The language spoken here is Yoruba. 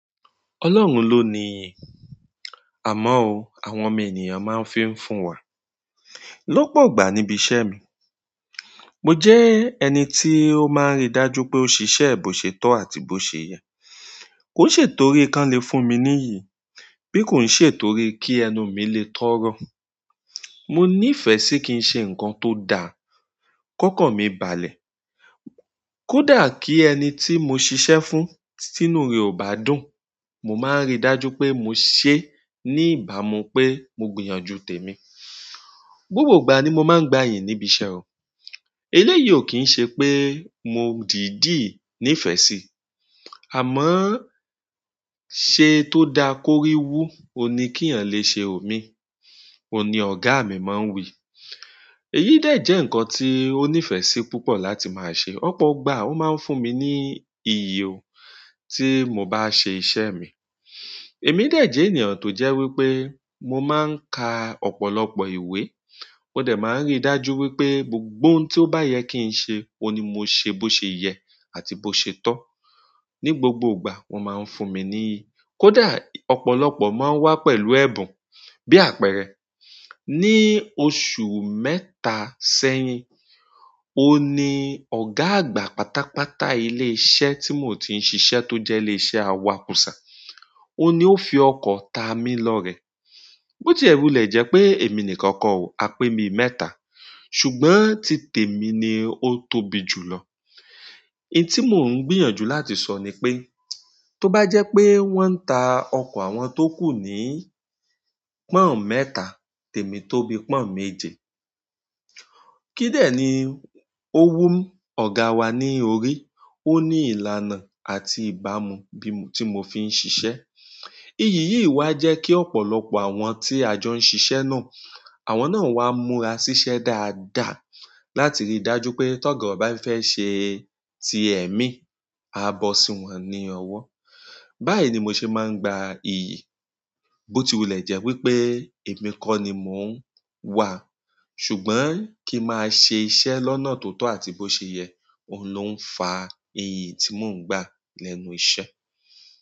Ọlọ́run ló ní, àmọ́ òun àwọn ọmọ ènìyàn máa ń fi ń fún wa. Lọ́pọ̀ ìgbà nì ìbì ìṣẹ mì, mò jẹ ẹnì tì ò màà ń rì dààjù wìpè ẹ bòṣè tọ àtì bòṣè yẹ kò ń ṣe tòrí kí wọ́n le fún mi ní ìyìn, bí kò ń ṣe torí kí ẹnu mi lè tọrọ. Mo nífẹ̀ẹ́ sí kí n ṣẹ nǹkan tó dàà. Kọ́kàn mi bààlẹ̀, kódà kí ẹni tí mo ṣìṣẹ fún, tínú rẹ̀ ò bá dùn, mo máa ń rí dájú pé mo ṣe ní ìbámu pé mo gbìyànjú tèmi. Gbògbò ìgbà ni mò máa ń gba iyìn níbi ìṣẹ ò. Eléyìí ò kí ń ṣe pé mò dììdì nífẹ̀ẹ́ sí, àmọ́ "ṣe tó dáa kórí wú, òní kí èèyàn lè ṣe ọmì", òní ọ̀gá mi máa ń wìí. Èyí dẹ jẹ́ ǹkan tí ó nífẹ̀ẹ́ sí púpọ̀ láti máa ṣẹ. Ọ̀pọ̀ ìgbà ó máa ń fún mi ní iyì ò, tí mo bá ṣe iṣẹ́ mi. Èmi dẹ jẹ́ ènìyàn tó jẹ́ wípé mò máa ń ka ọ̀pọ̀lọpọ̀ ìwé. Mo dẹ màá ń rí dájú wípé gbògbò òhùn tí ó bá yẹ kí n ṣe, òní mò ṣe bó ṣe yẹ àti bó ṣe tọ. Ni gbogbo ìgbà wọ́n máa ń fún mi ní iyì. Kódà ọ̀pọ̀lọpọ̀ máa ń wá pẹ̀lú ẹ̀bùn. Bí àpẹẹrẹ, ní oṣù mẹtà sẹ́yìn, òòní ọ̀gá àgbà pátápátá ilé iṣẹ́ tí mò ń ti ṣiṣẹ́ tó jẹ́ ilé iṣẹ́ awò kúsá, òní ó fi ọkọ̀ ta mi lọ rẹ̀. Bó ti ẹ wulẹ̀ jẹ́ pé èmi nìkan kọ̀ o, a pè bi mẹ́ta, ṣùgbọ́n ti tèmi ni ó tóbi jù lọ. I tí mò ń gbìyànjú láti sọ ni pé, tó bá jẹ́ pé wọ́n ń ta ọkọ̀ àwọn tó kú ní pọ́n mẹ́ta, tèmi tóbi pọ́n méje. Kídẹ̀ ni ó wù ọ̀gá wà ní òrí. Ó ní ìlànà àti ìbàmù bí mò- tí mò fi ń ṣiṣẹ́. Iyì yìí wà jẹ́ kí ọ̀pọ̀lọpọ̀ àwọn tí à jọ ń ṣiṣẹ́ náà, àwọn náà wá múra ṣiṣẹ́ dáadáa láti rí dájú pé t'ọ́gà bá fẹ́ ṣe ti ẹ̀mí, à bọ́ sí wọn ní ọwọ́. Báyìí ni mò ṣe máa ń gba ìyì. Bó ti wulẹ̀ jẹ́ wípé èmi kọ́ ni mò ń wà, ṣùgbọ́n kí ma ṣe iṣẹ́ lọ́nà tó tọ́ àti bó ṣe yẹ, òun ló ń fa iyì tí mò ń gba lẹ́nu iṣẹ́.